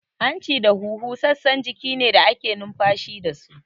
Hanci da huhu sassan jiki ne da ake numfashi dasu